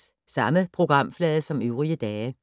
Samme programflade som øvrige dage